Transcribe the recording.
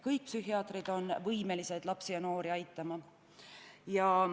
Kõik psühhiaatrid on võimelised lapsi ja noori aitama.